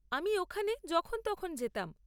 আমি ওখানে যখন তখন যেতাম।